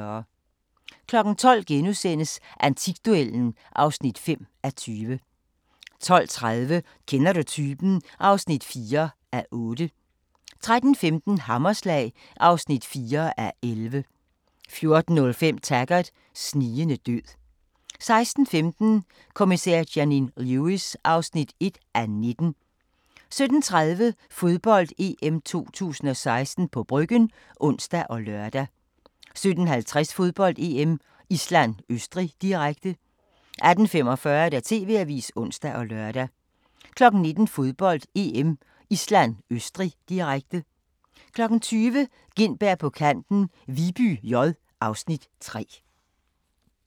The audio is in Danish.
12:00: Antikduellen (5:20)* 12:30: Kender du typen? (4:8) 13:15: Hammerslag (4:11) 14:05: Taggart: Snigende død 16:15: Kommissær Janine Lewis (1:19) 17:30: Fodbold: EM 2016 – på Bryggen (ons og lør) 17:50: Fodbold: EM - Island-Østrig, direkte 18:45: TV-avisen (ons og lør) 19:00: Fodbold: EM - Island-Østrig, direkte 20:00: Gintberg på Kanten - Viby J (Afs. 3)